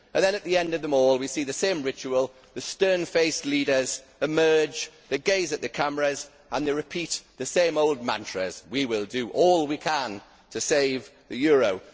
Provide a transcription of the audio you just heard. And then at the end of them all, we see the same ritual the stern faced leaders emerge, they gaze at the cameras and they repeat the same old mantras we will do all we can to save the euro'.